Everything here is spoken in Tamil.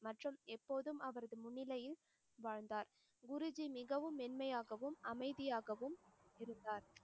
மற்றும் எப்போதும் அவரது முன்னிலையில் வாழ்ந்தார். குருஜி மிகவும் மென்மையாகவும் அமைதியாகவும் இருந்தார்.